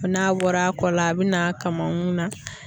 N'a bɔra a kɔ la a bi n'a kamankun na